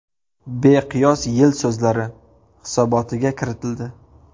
Beqiyos yil so‘zlari” hisobotiga kiritildi.